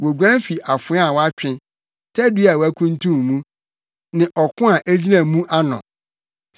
Woguan fi afoa a watwe tadua a wɔakuntun mu ne ɔko a egyina mu ano.